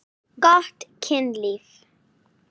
Gott kynlíf.